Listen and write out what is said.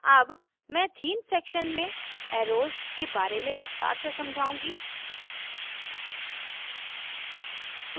अब मैं themes section में एर्रोस के बारे में विस्तार से समझाउंगी